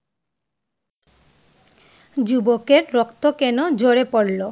যুবকের রক্ত কেন ঝরে পড়লো?